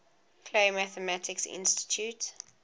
clay mathematics institute